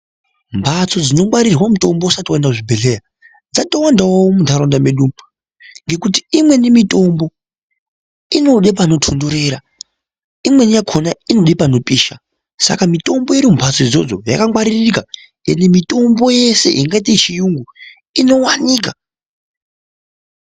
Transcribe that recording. Mphatso dzinongwarirwa mutombo usati waenda kuzvibhedhleya dzatowandawo muntaraunda mwedumwo ngokuti imweni mitombo inode panotontorera imweni yakona inode panopisha saka mitombo iri mumphatso idzodzo yakangwaririka ende mitombo yeshe yakaite yechiyungu inowanika.